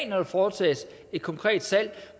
når der foretages et konkret salg